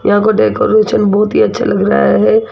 यहां को डेकोरेशन बहोत ही अच्छा लग रहा है।